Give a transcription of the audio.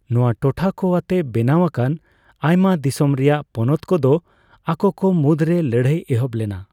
ᱱᱚᱣᱟ ᱴᱚᱴᱷᱟ ᱠᱚ ᱟᱛᱮ ᱵᱮᱱᱟᱣ ᱟᱠᱟᱱ ᱟᱭᱢᱟ ᱫᱤᱥᱚᱢ ᱨᱟᱭᱟᱜ ᱯᱚᱱᱚᱛ ᱠᱚᱫᱚ ᱟᱠᱚᱠᱚ ᱢᱩᱫᱽᱨᱮ ᱞᱟᱹᱲᱦᱟᱹᱭ ᱮᱦᱚᱵ ᱞᱮᱱᱟ ᱾